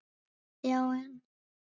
Já en.